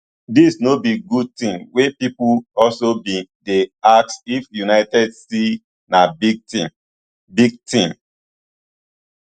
dis no be good tin wey pipo also bin dey ask if united still na big team big team